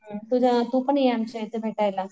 तुझं तू पण ये आमच्या इथे भेटायला.